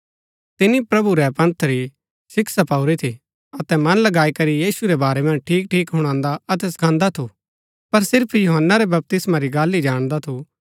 तिनी प्रभु रै पंथ री शिक्षा पाऊरी थी अतै मन लगाई करी यीशु रै बारै मन्ज ठीक ठीक हुणान्दा अतै सखांदा थु पर सिर्फ यूहन्‍ना रै बपतिस्मा री गल्ल ही जाणदा थु